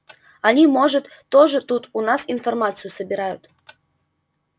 они может тоже тут у нас информацию собирают